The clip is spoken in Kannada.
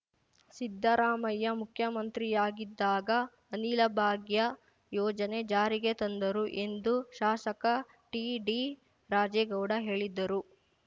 ಸಿದ್ದರಾಮಯ್ಯ ಮುಖ್ಯಮಂತ್ರಿಯಾಗಿದ್ದಾಗ ಅನಿಲಭಾಗ್ಯ ಯೋಜನೆ ಜಾರಿಗೆ ತಂದರು ಎಂದು ಶಾಸಕ ಟಿಡಿರಾಜೇಗೌಡ ಹೇಳಿದ್ದರು